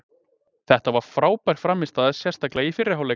Þetta var frábær frammistaða sérstaklega í fyrri hálfleik.